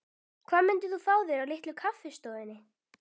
Hvað myndir þú fá þér á Litlu kaffistofunni?